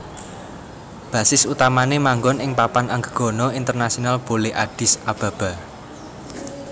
Basis utamané manggon ing Papan Anggegana Internasional Bole Addis Ababa